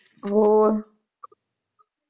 ਹੋਰ